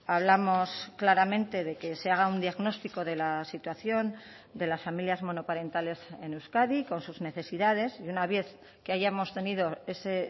hablamos claramente de que se haga un diagnóstico de la situación de las familias monoparentales en euskadi con sus necesidades y una vez que hayamos tenido ese